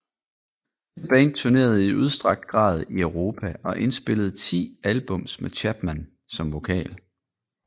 Dette band turnerede i udstrakt grad i Europa og indspillede ti albums med Chapman som vokal